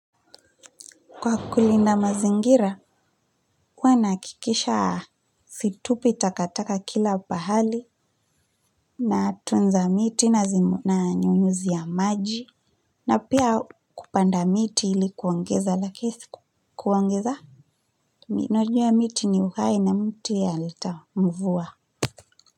Kwa kulinda mazingira, huwa nahakikisha situpi takataka kila pahali. Natunza miti nanyunyuzia maji. Na pia kupanda miti ili kuongeza hewa safi. Najua miti ni uhai na miti yaleta mvua.